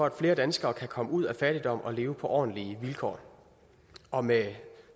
at flere danskere kan komme ud af fattigdom og leve på ordentlige vilkår og med